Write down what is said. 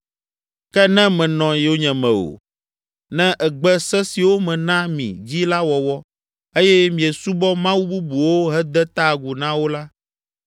“Ke ne mènɔ yonyeme o, ne ègbe se siwo mena mi dzi la wɔwɔ eye miesubɔ mawu bubuwo hede ta agu na wo la,